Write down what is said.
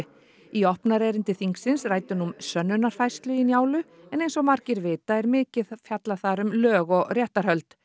í opnunarerindi þingsins ræddi hún um sönnunarfærslu í Njálu en eins um margir vita er mikið fjallað þar um lög og réttarhöld